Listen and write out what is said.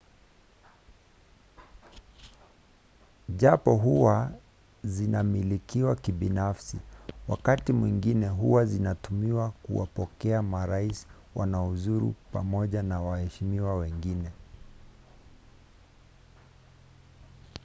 japo huwa zinamilikiwa kibinafsi wakati mwingine huwa zinatumiwa kuwapokea marais wanaozuru pamoja na waheshimiwa wengine